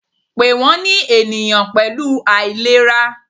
Pe wọn eniyan pẹlu ailera!